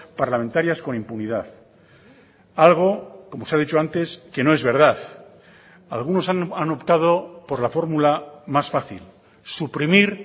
parlamentarias con impunidad algo como se ha dicho antes que no es verdad algunos han optado por la fórmula más fácil suprimir